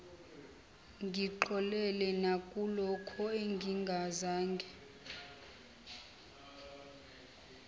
ngixolele nakulokho engingazange